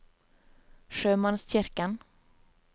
sjømannskirken